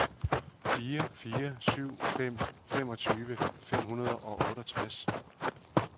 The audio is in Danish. fire fire syv fem femogtyve fem hundrede og otteogtres